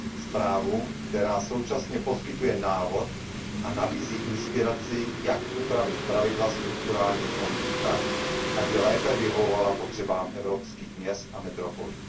Zprávu, která současně poskytuje návod a nabízí inspiraci, jak upravit pravidla strukturálních fondů tak, aby lépe vyhovovala potřebám evropských měst a metropolí.